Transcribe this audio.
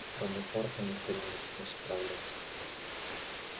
кроме порка никто не умеет с ним справляться